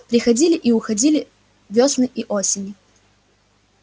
приходили и уходили вёсны и осени